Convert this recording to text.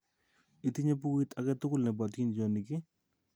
Itinye pukuit ake tukul nepo atindyonik ii?